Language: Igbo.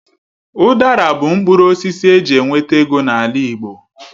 Udara bụ mkpụrụ osisi eji enweta ego n'ala Igbo.